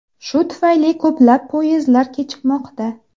Shu tufayli ko‘plab poyezdlar kechikmoqda.